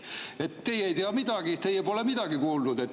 Aga teie ei tea midagi, teie pole midagi kuulnud.